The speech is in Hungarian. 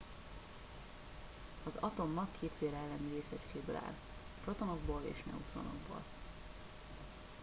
az atommag kétféle elemi részecskéből áll protonokból és neutronokból